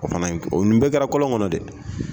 O fana in nin bɛɛ kɛra kɔlɔn kɔnɔ dɛ.